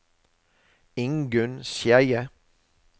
Ingunn Skeie